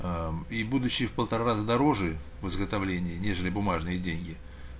аа и будущие в полтора раза дороже в изготовлении нежели бумажные деньги